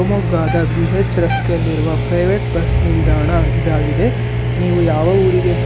ಶಿವಮೊಗ್ಗದ ಬಿ_ಎಚ್ ರಸ್ತೆಯಲ್ಲಿರುವ private bus ನಿಲ್ದಾಣ ಇದಾಗಿದೆ ನೀವು ಯಾವ ಊರಿಗೆ--